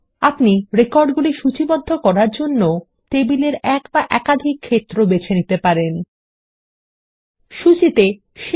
আপনি এক বা একাধিক ক্ষেত্র বেছে নিতে পারেন যেগুলির দ্বারা রেকর্ড সূচীবদ্ধ করা হবে